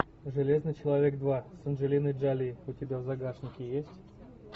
железный человек два с анджелиной джоли у тебя в загашнике есть